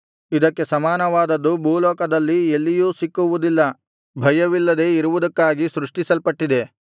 ಇದಕ್ಕೆ ಸಮಾನವಾದದ್ದು ಭೂಲೋಕದಲ್ಲಿ ಎಲ್ಲಿಯೂ ಸಿಕ್ಕುವುದಿಲ್ಲ ಭಯವಿಲ್ಲದೆ ಇರುವುದಕ್ಕಾಗಿ ಸೃಷ್ಟಿಸಲ್ಪಟ್ಟಿದೆ